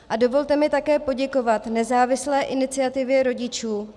A dovolte mi také poděkovat nezávislé iniciativě rodičů